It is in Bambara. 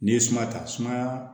N'i ye suma ta sumaya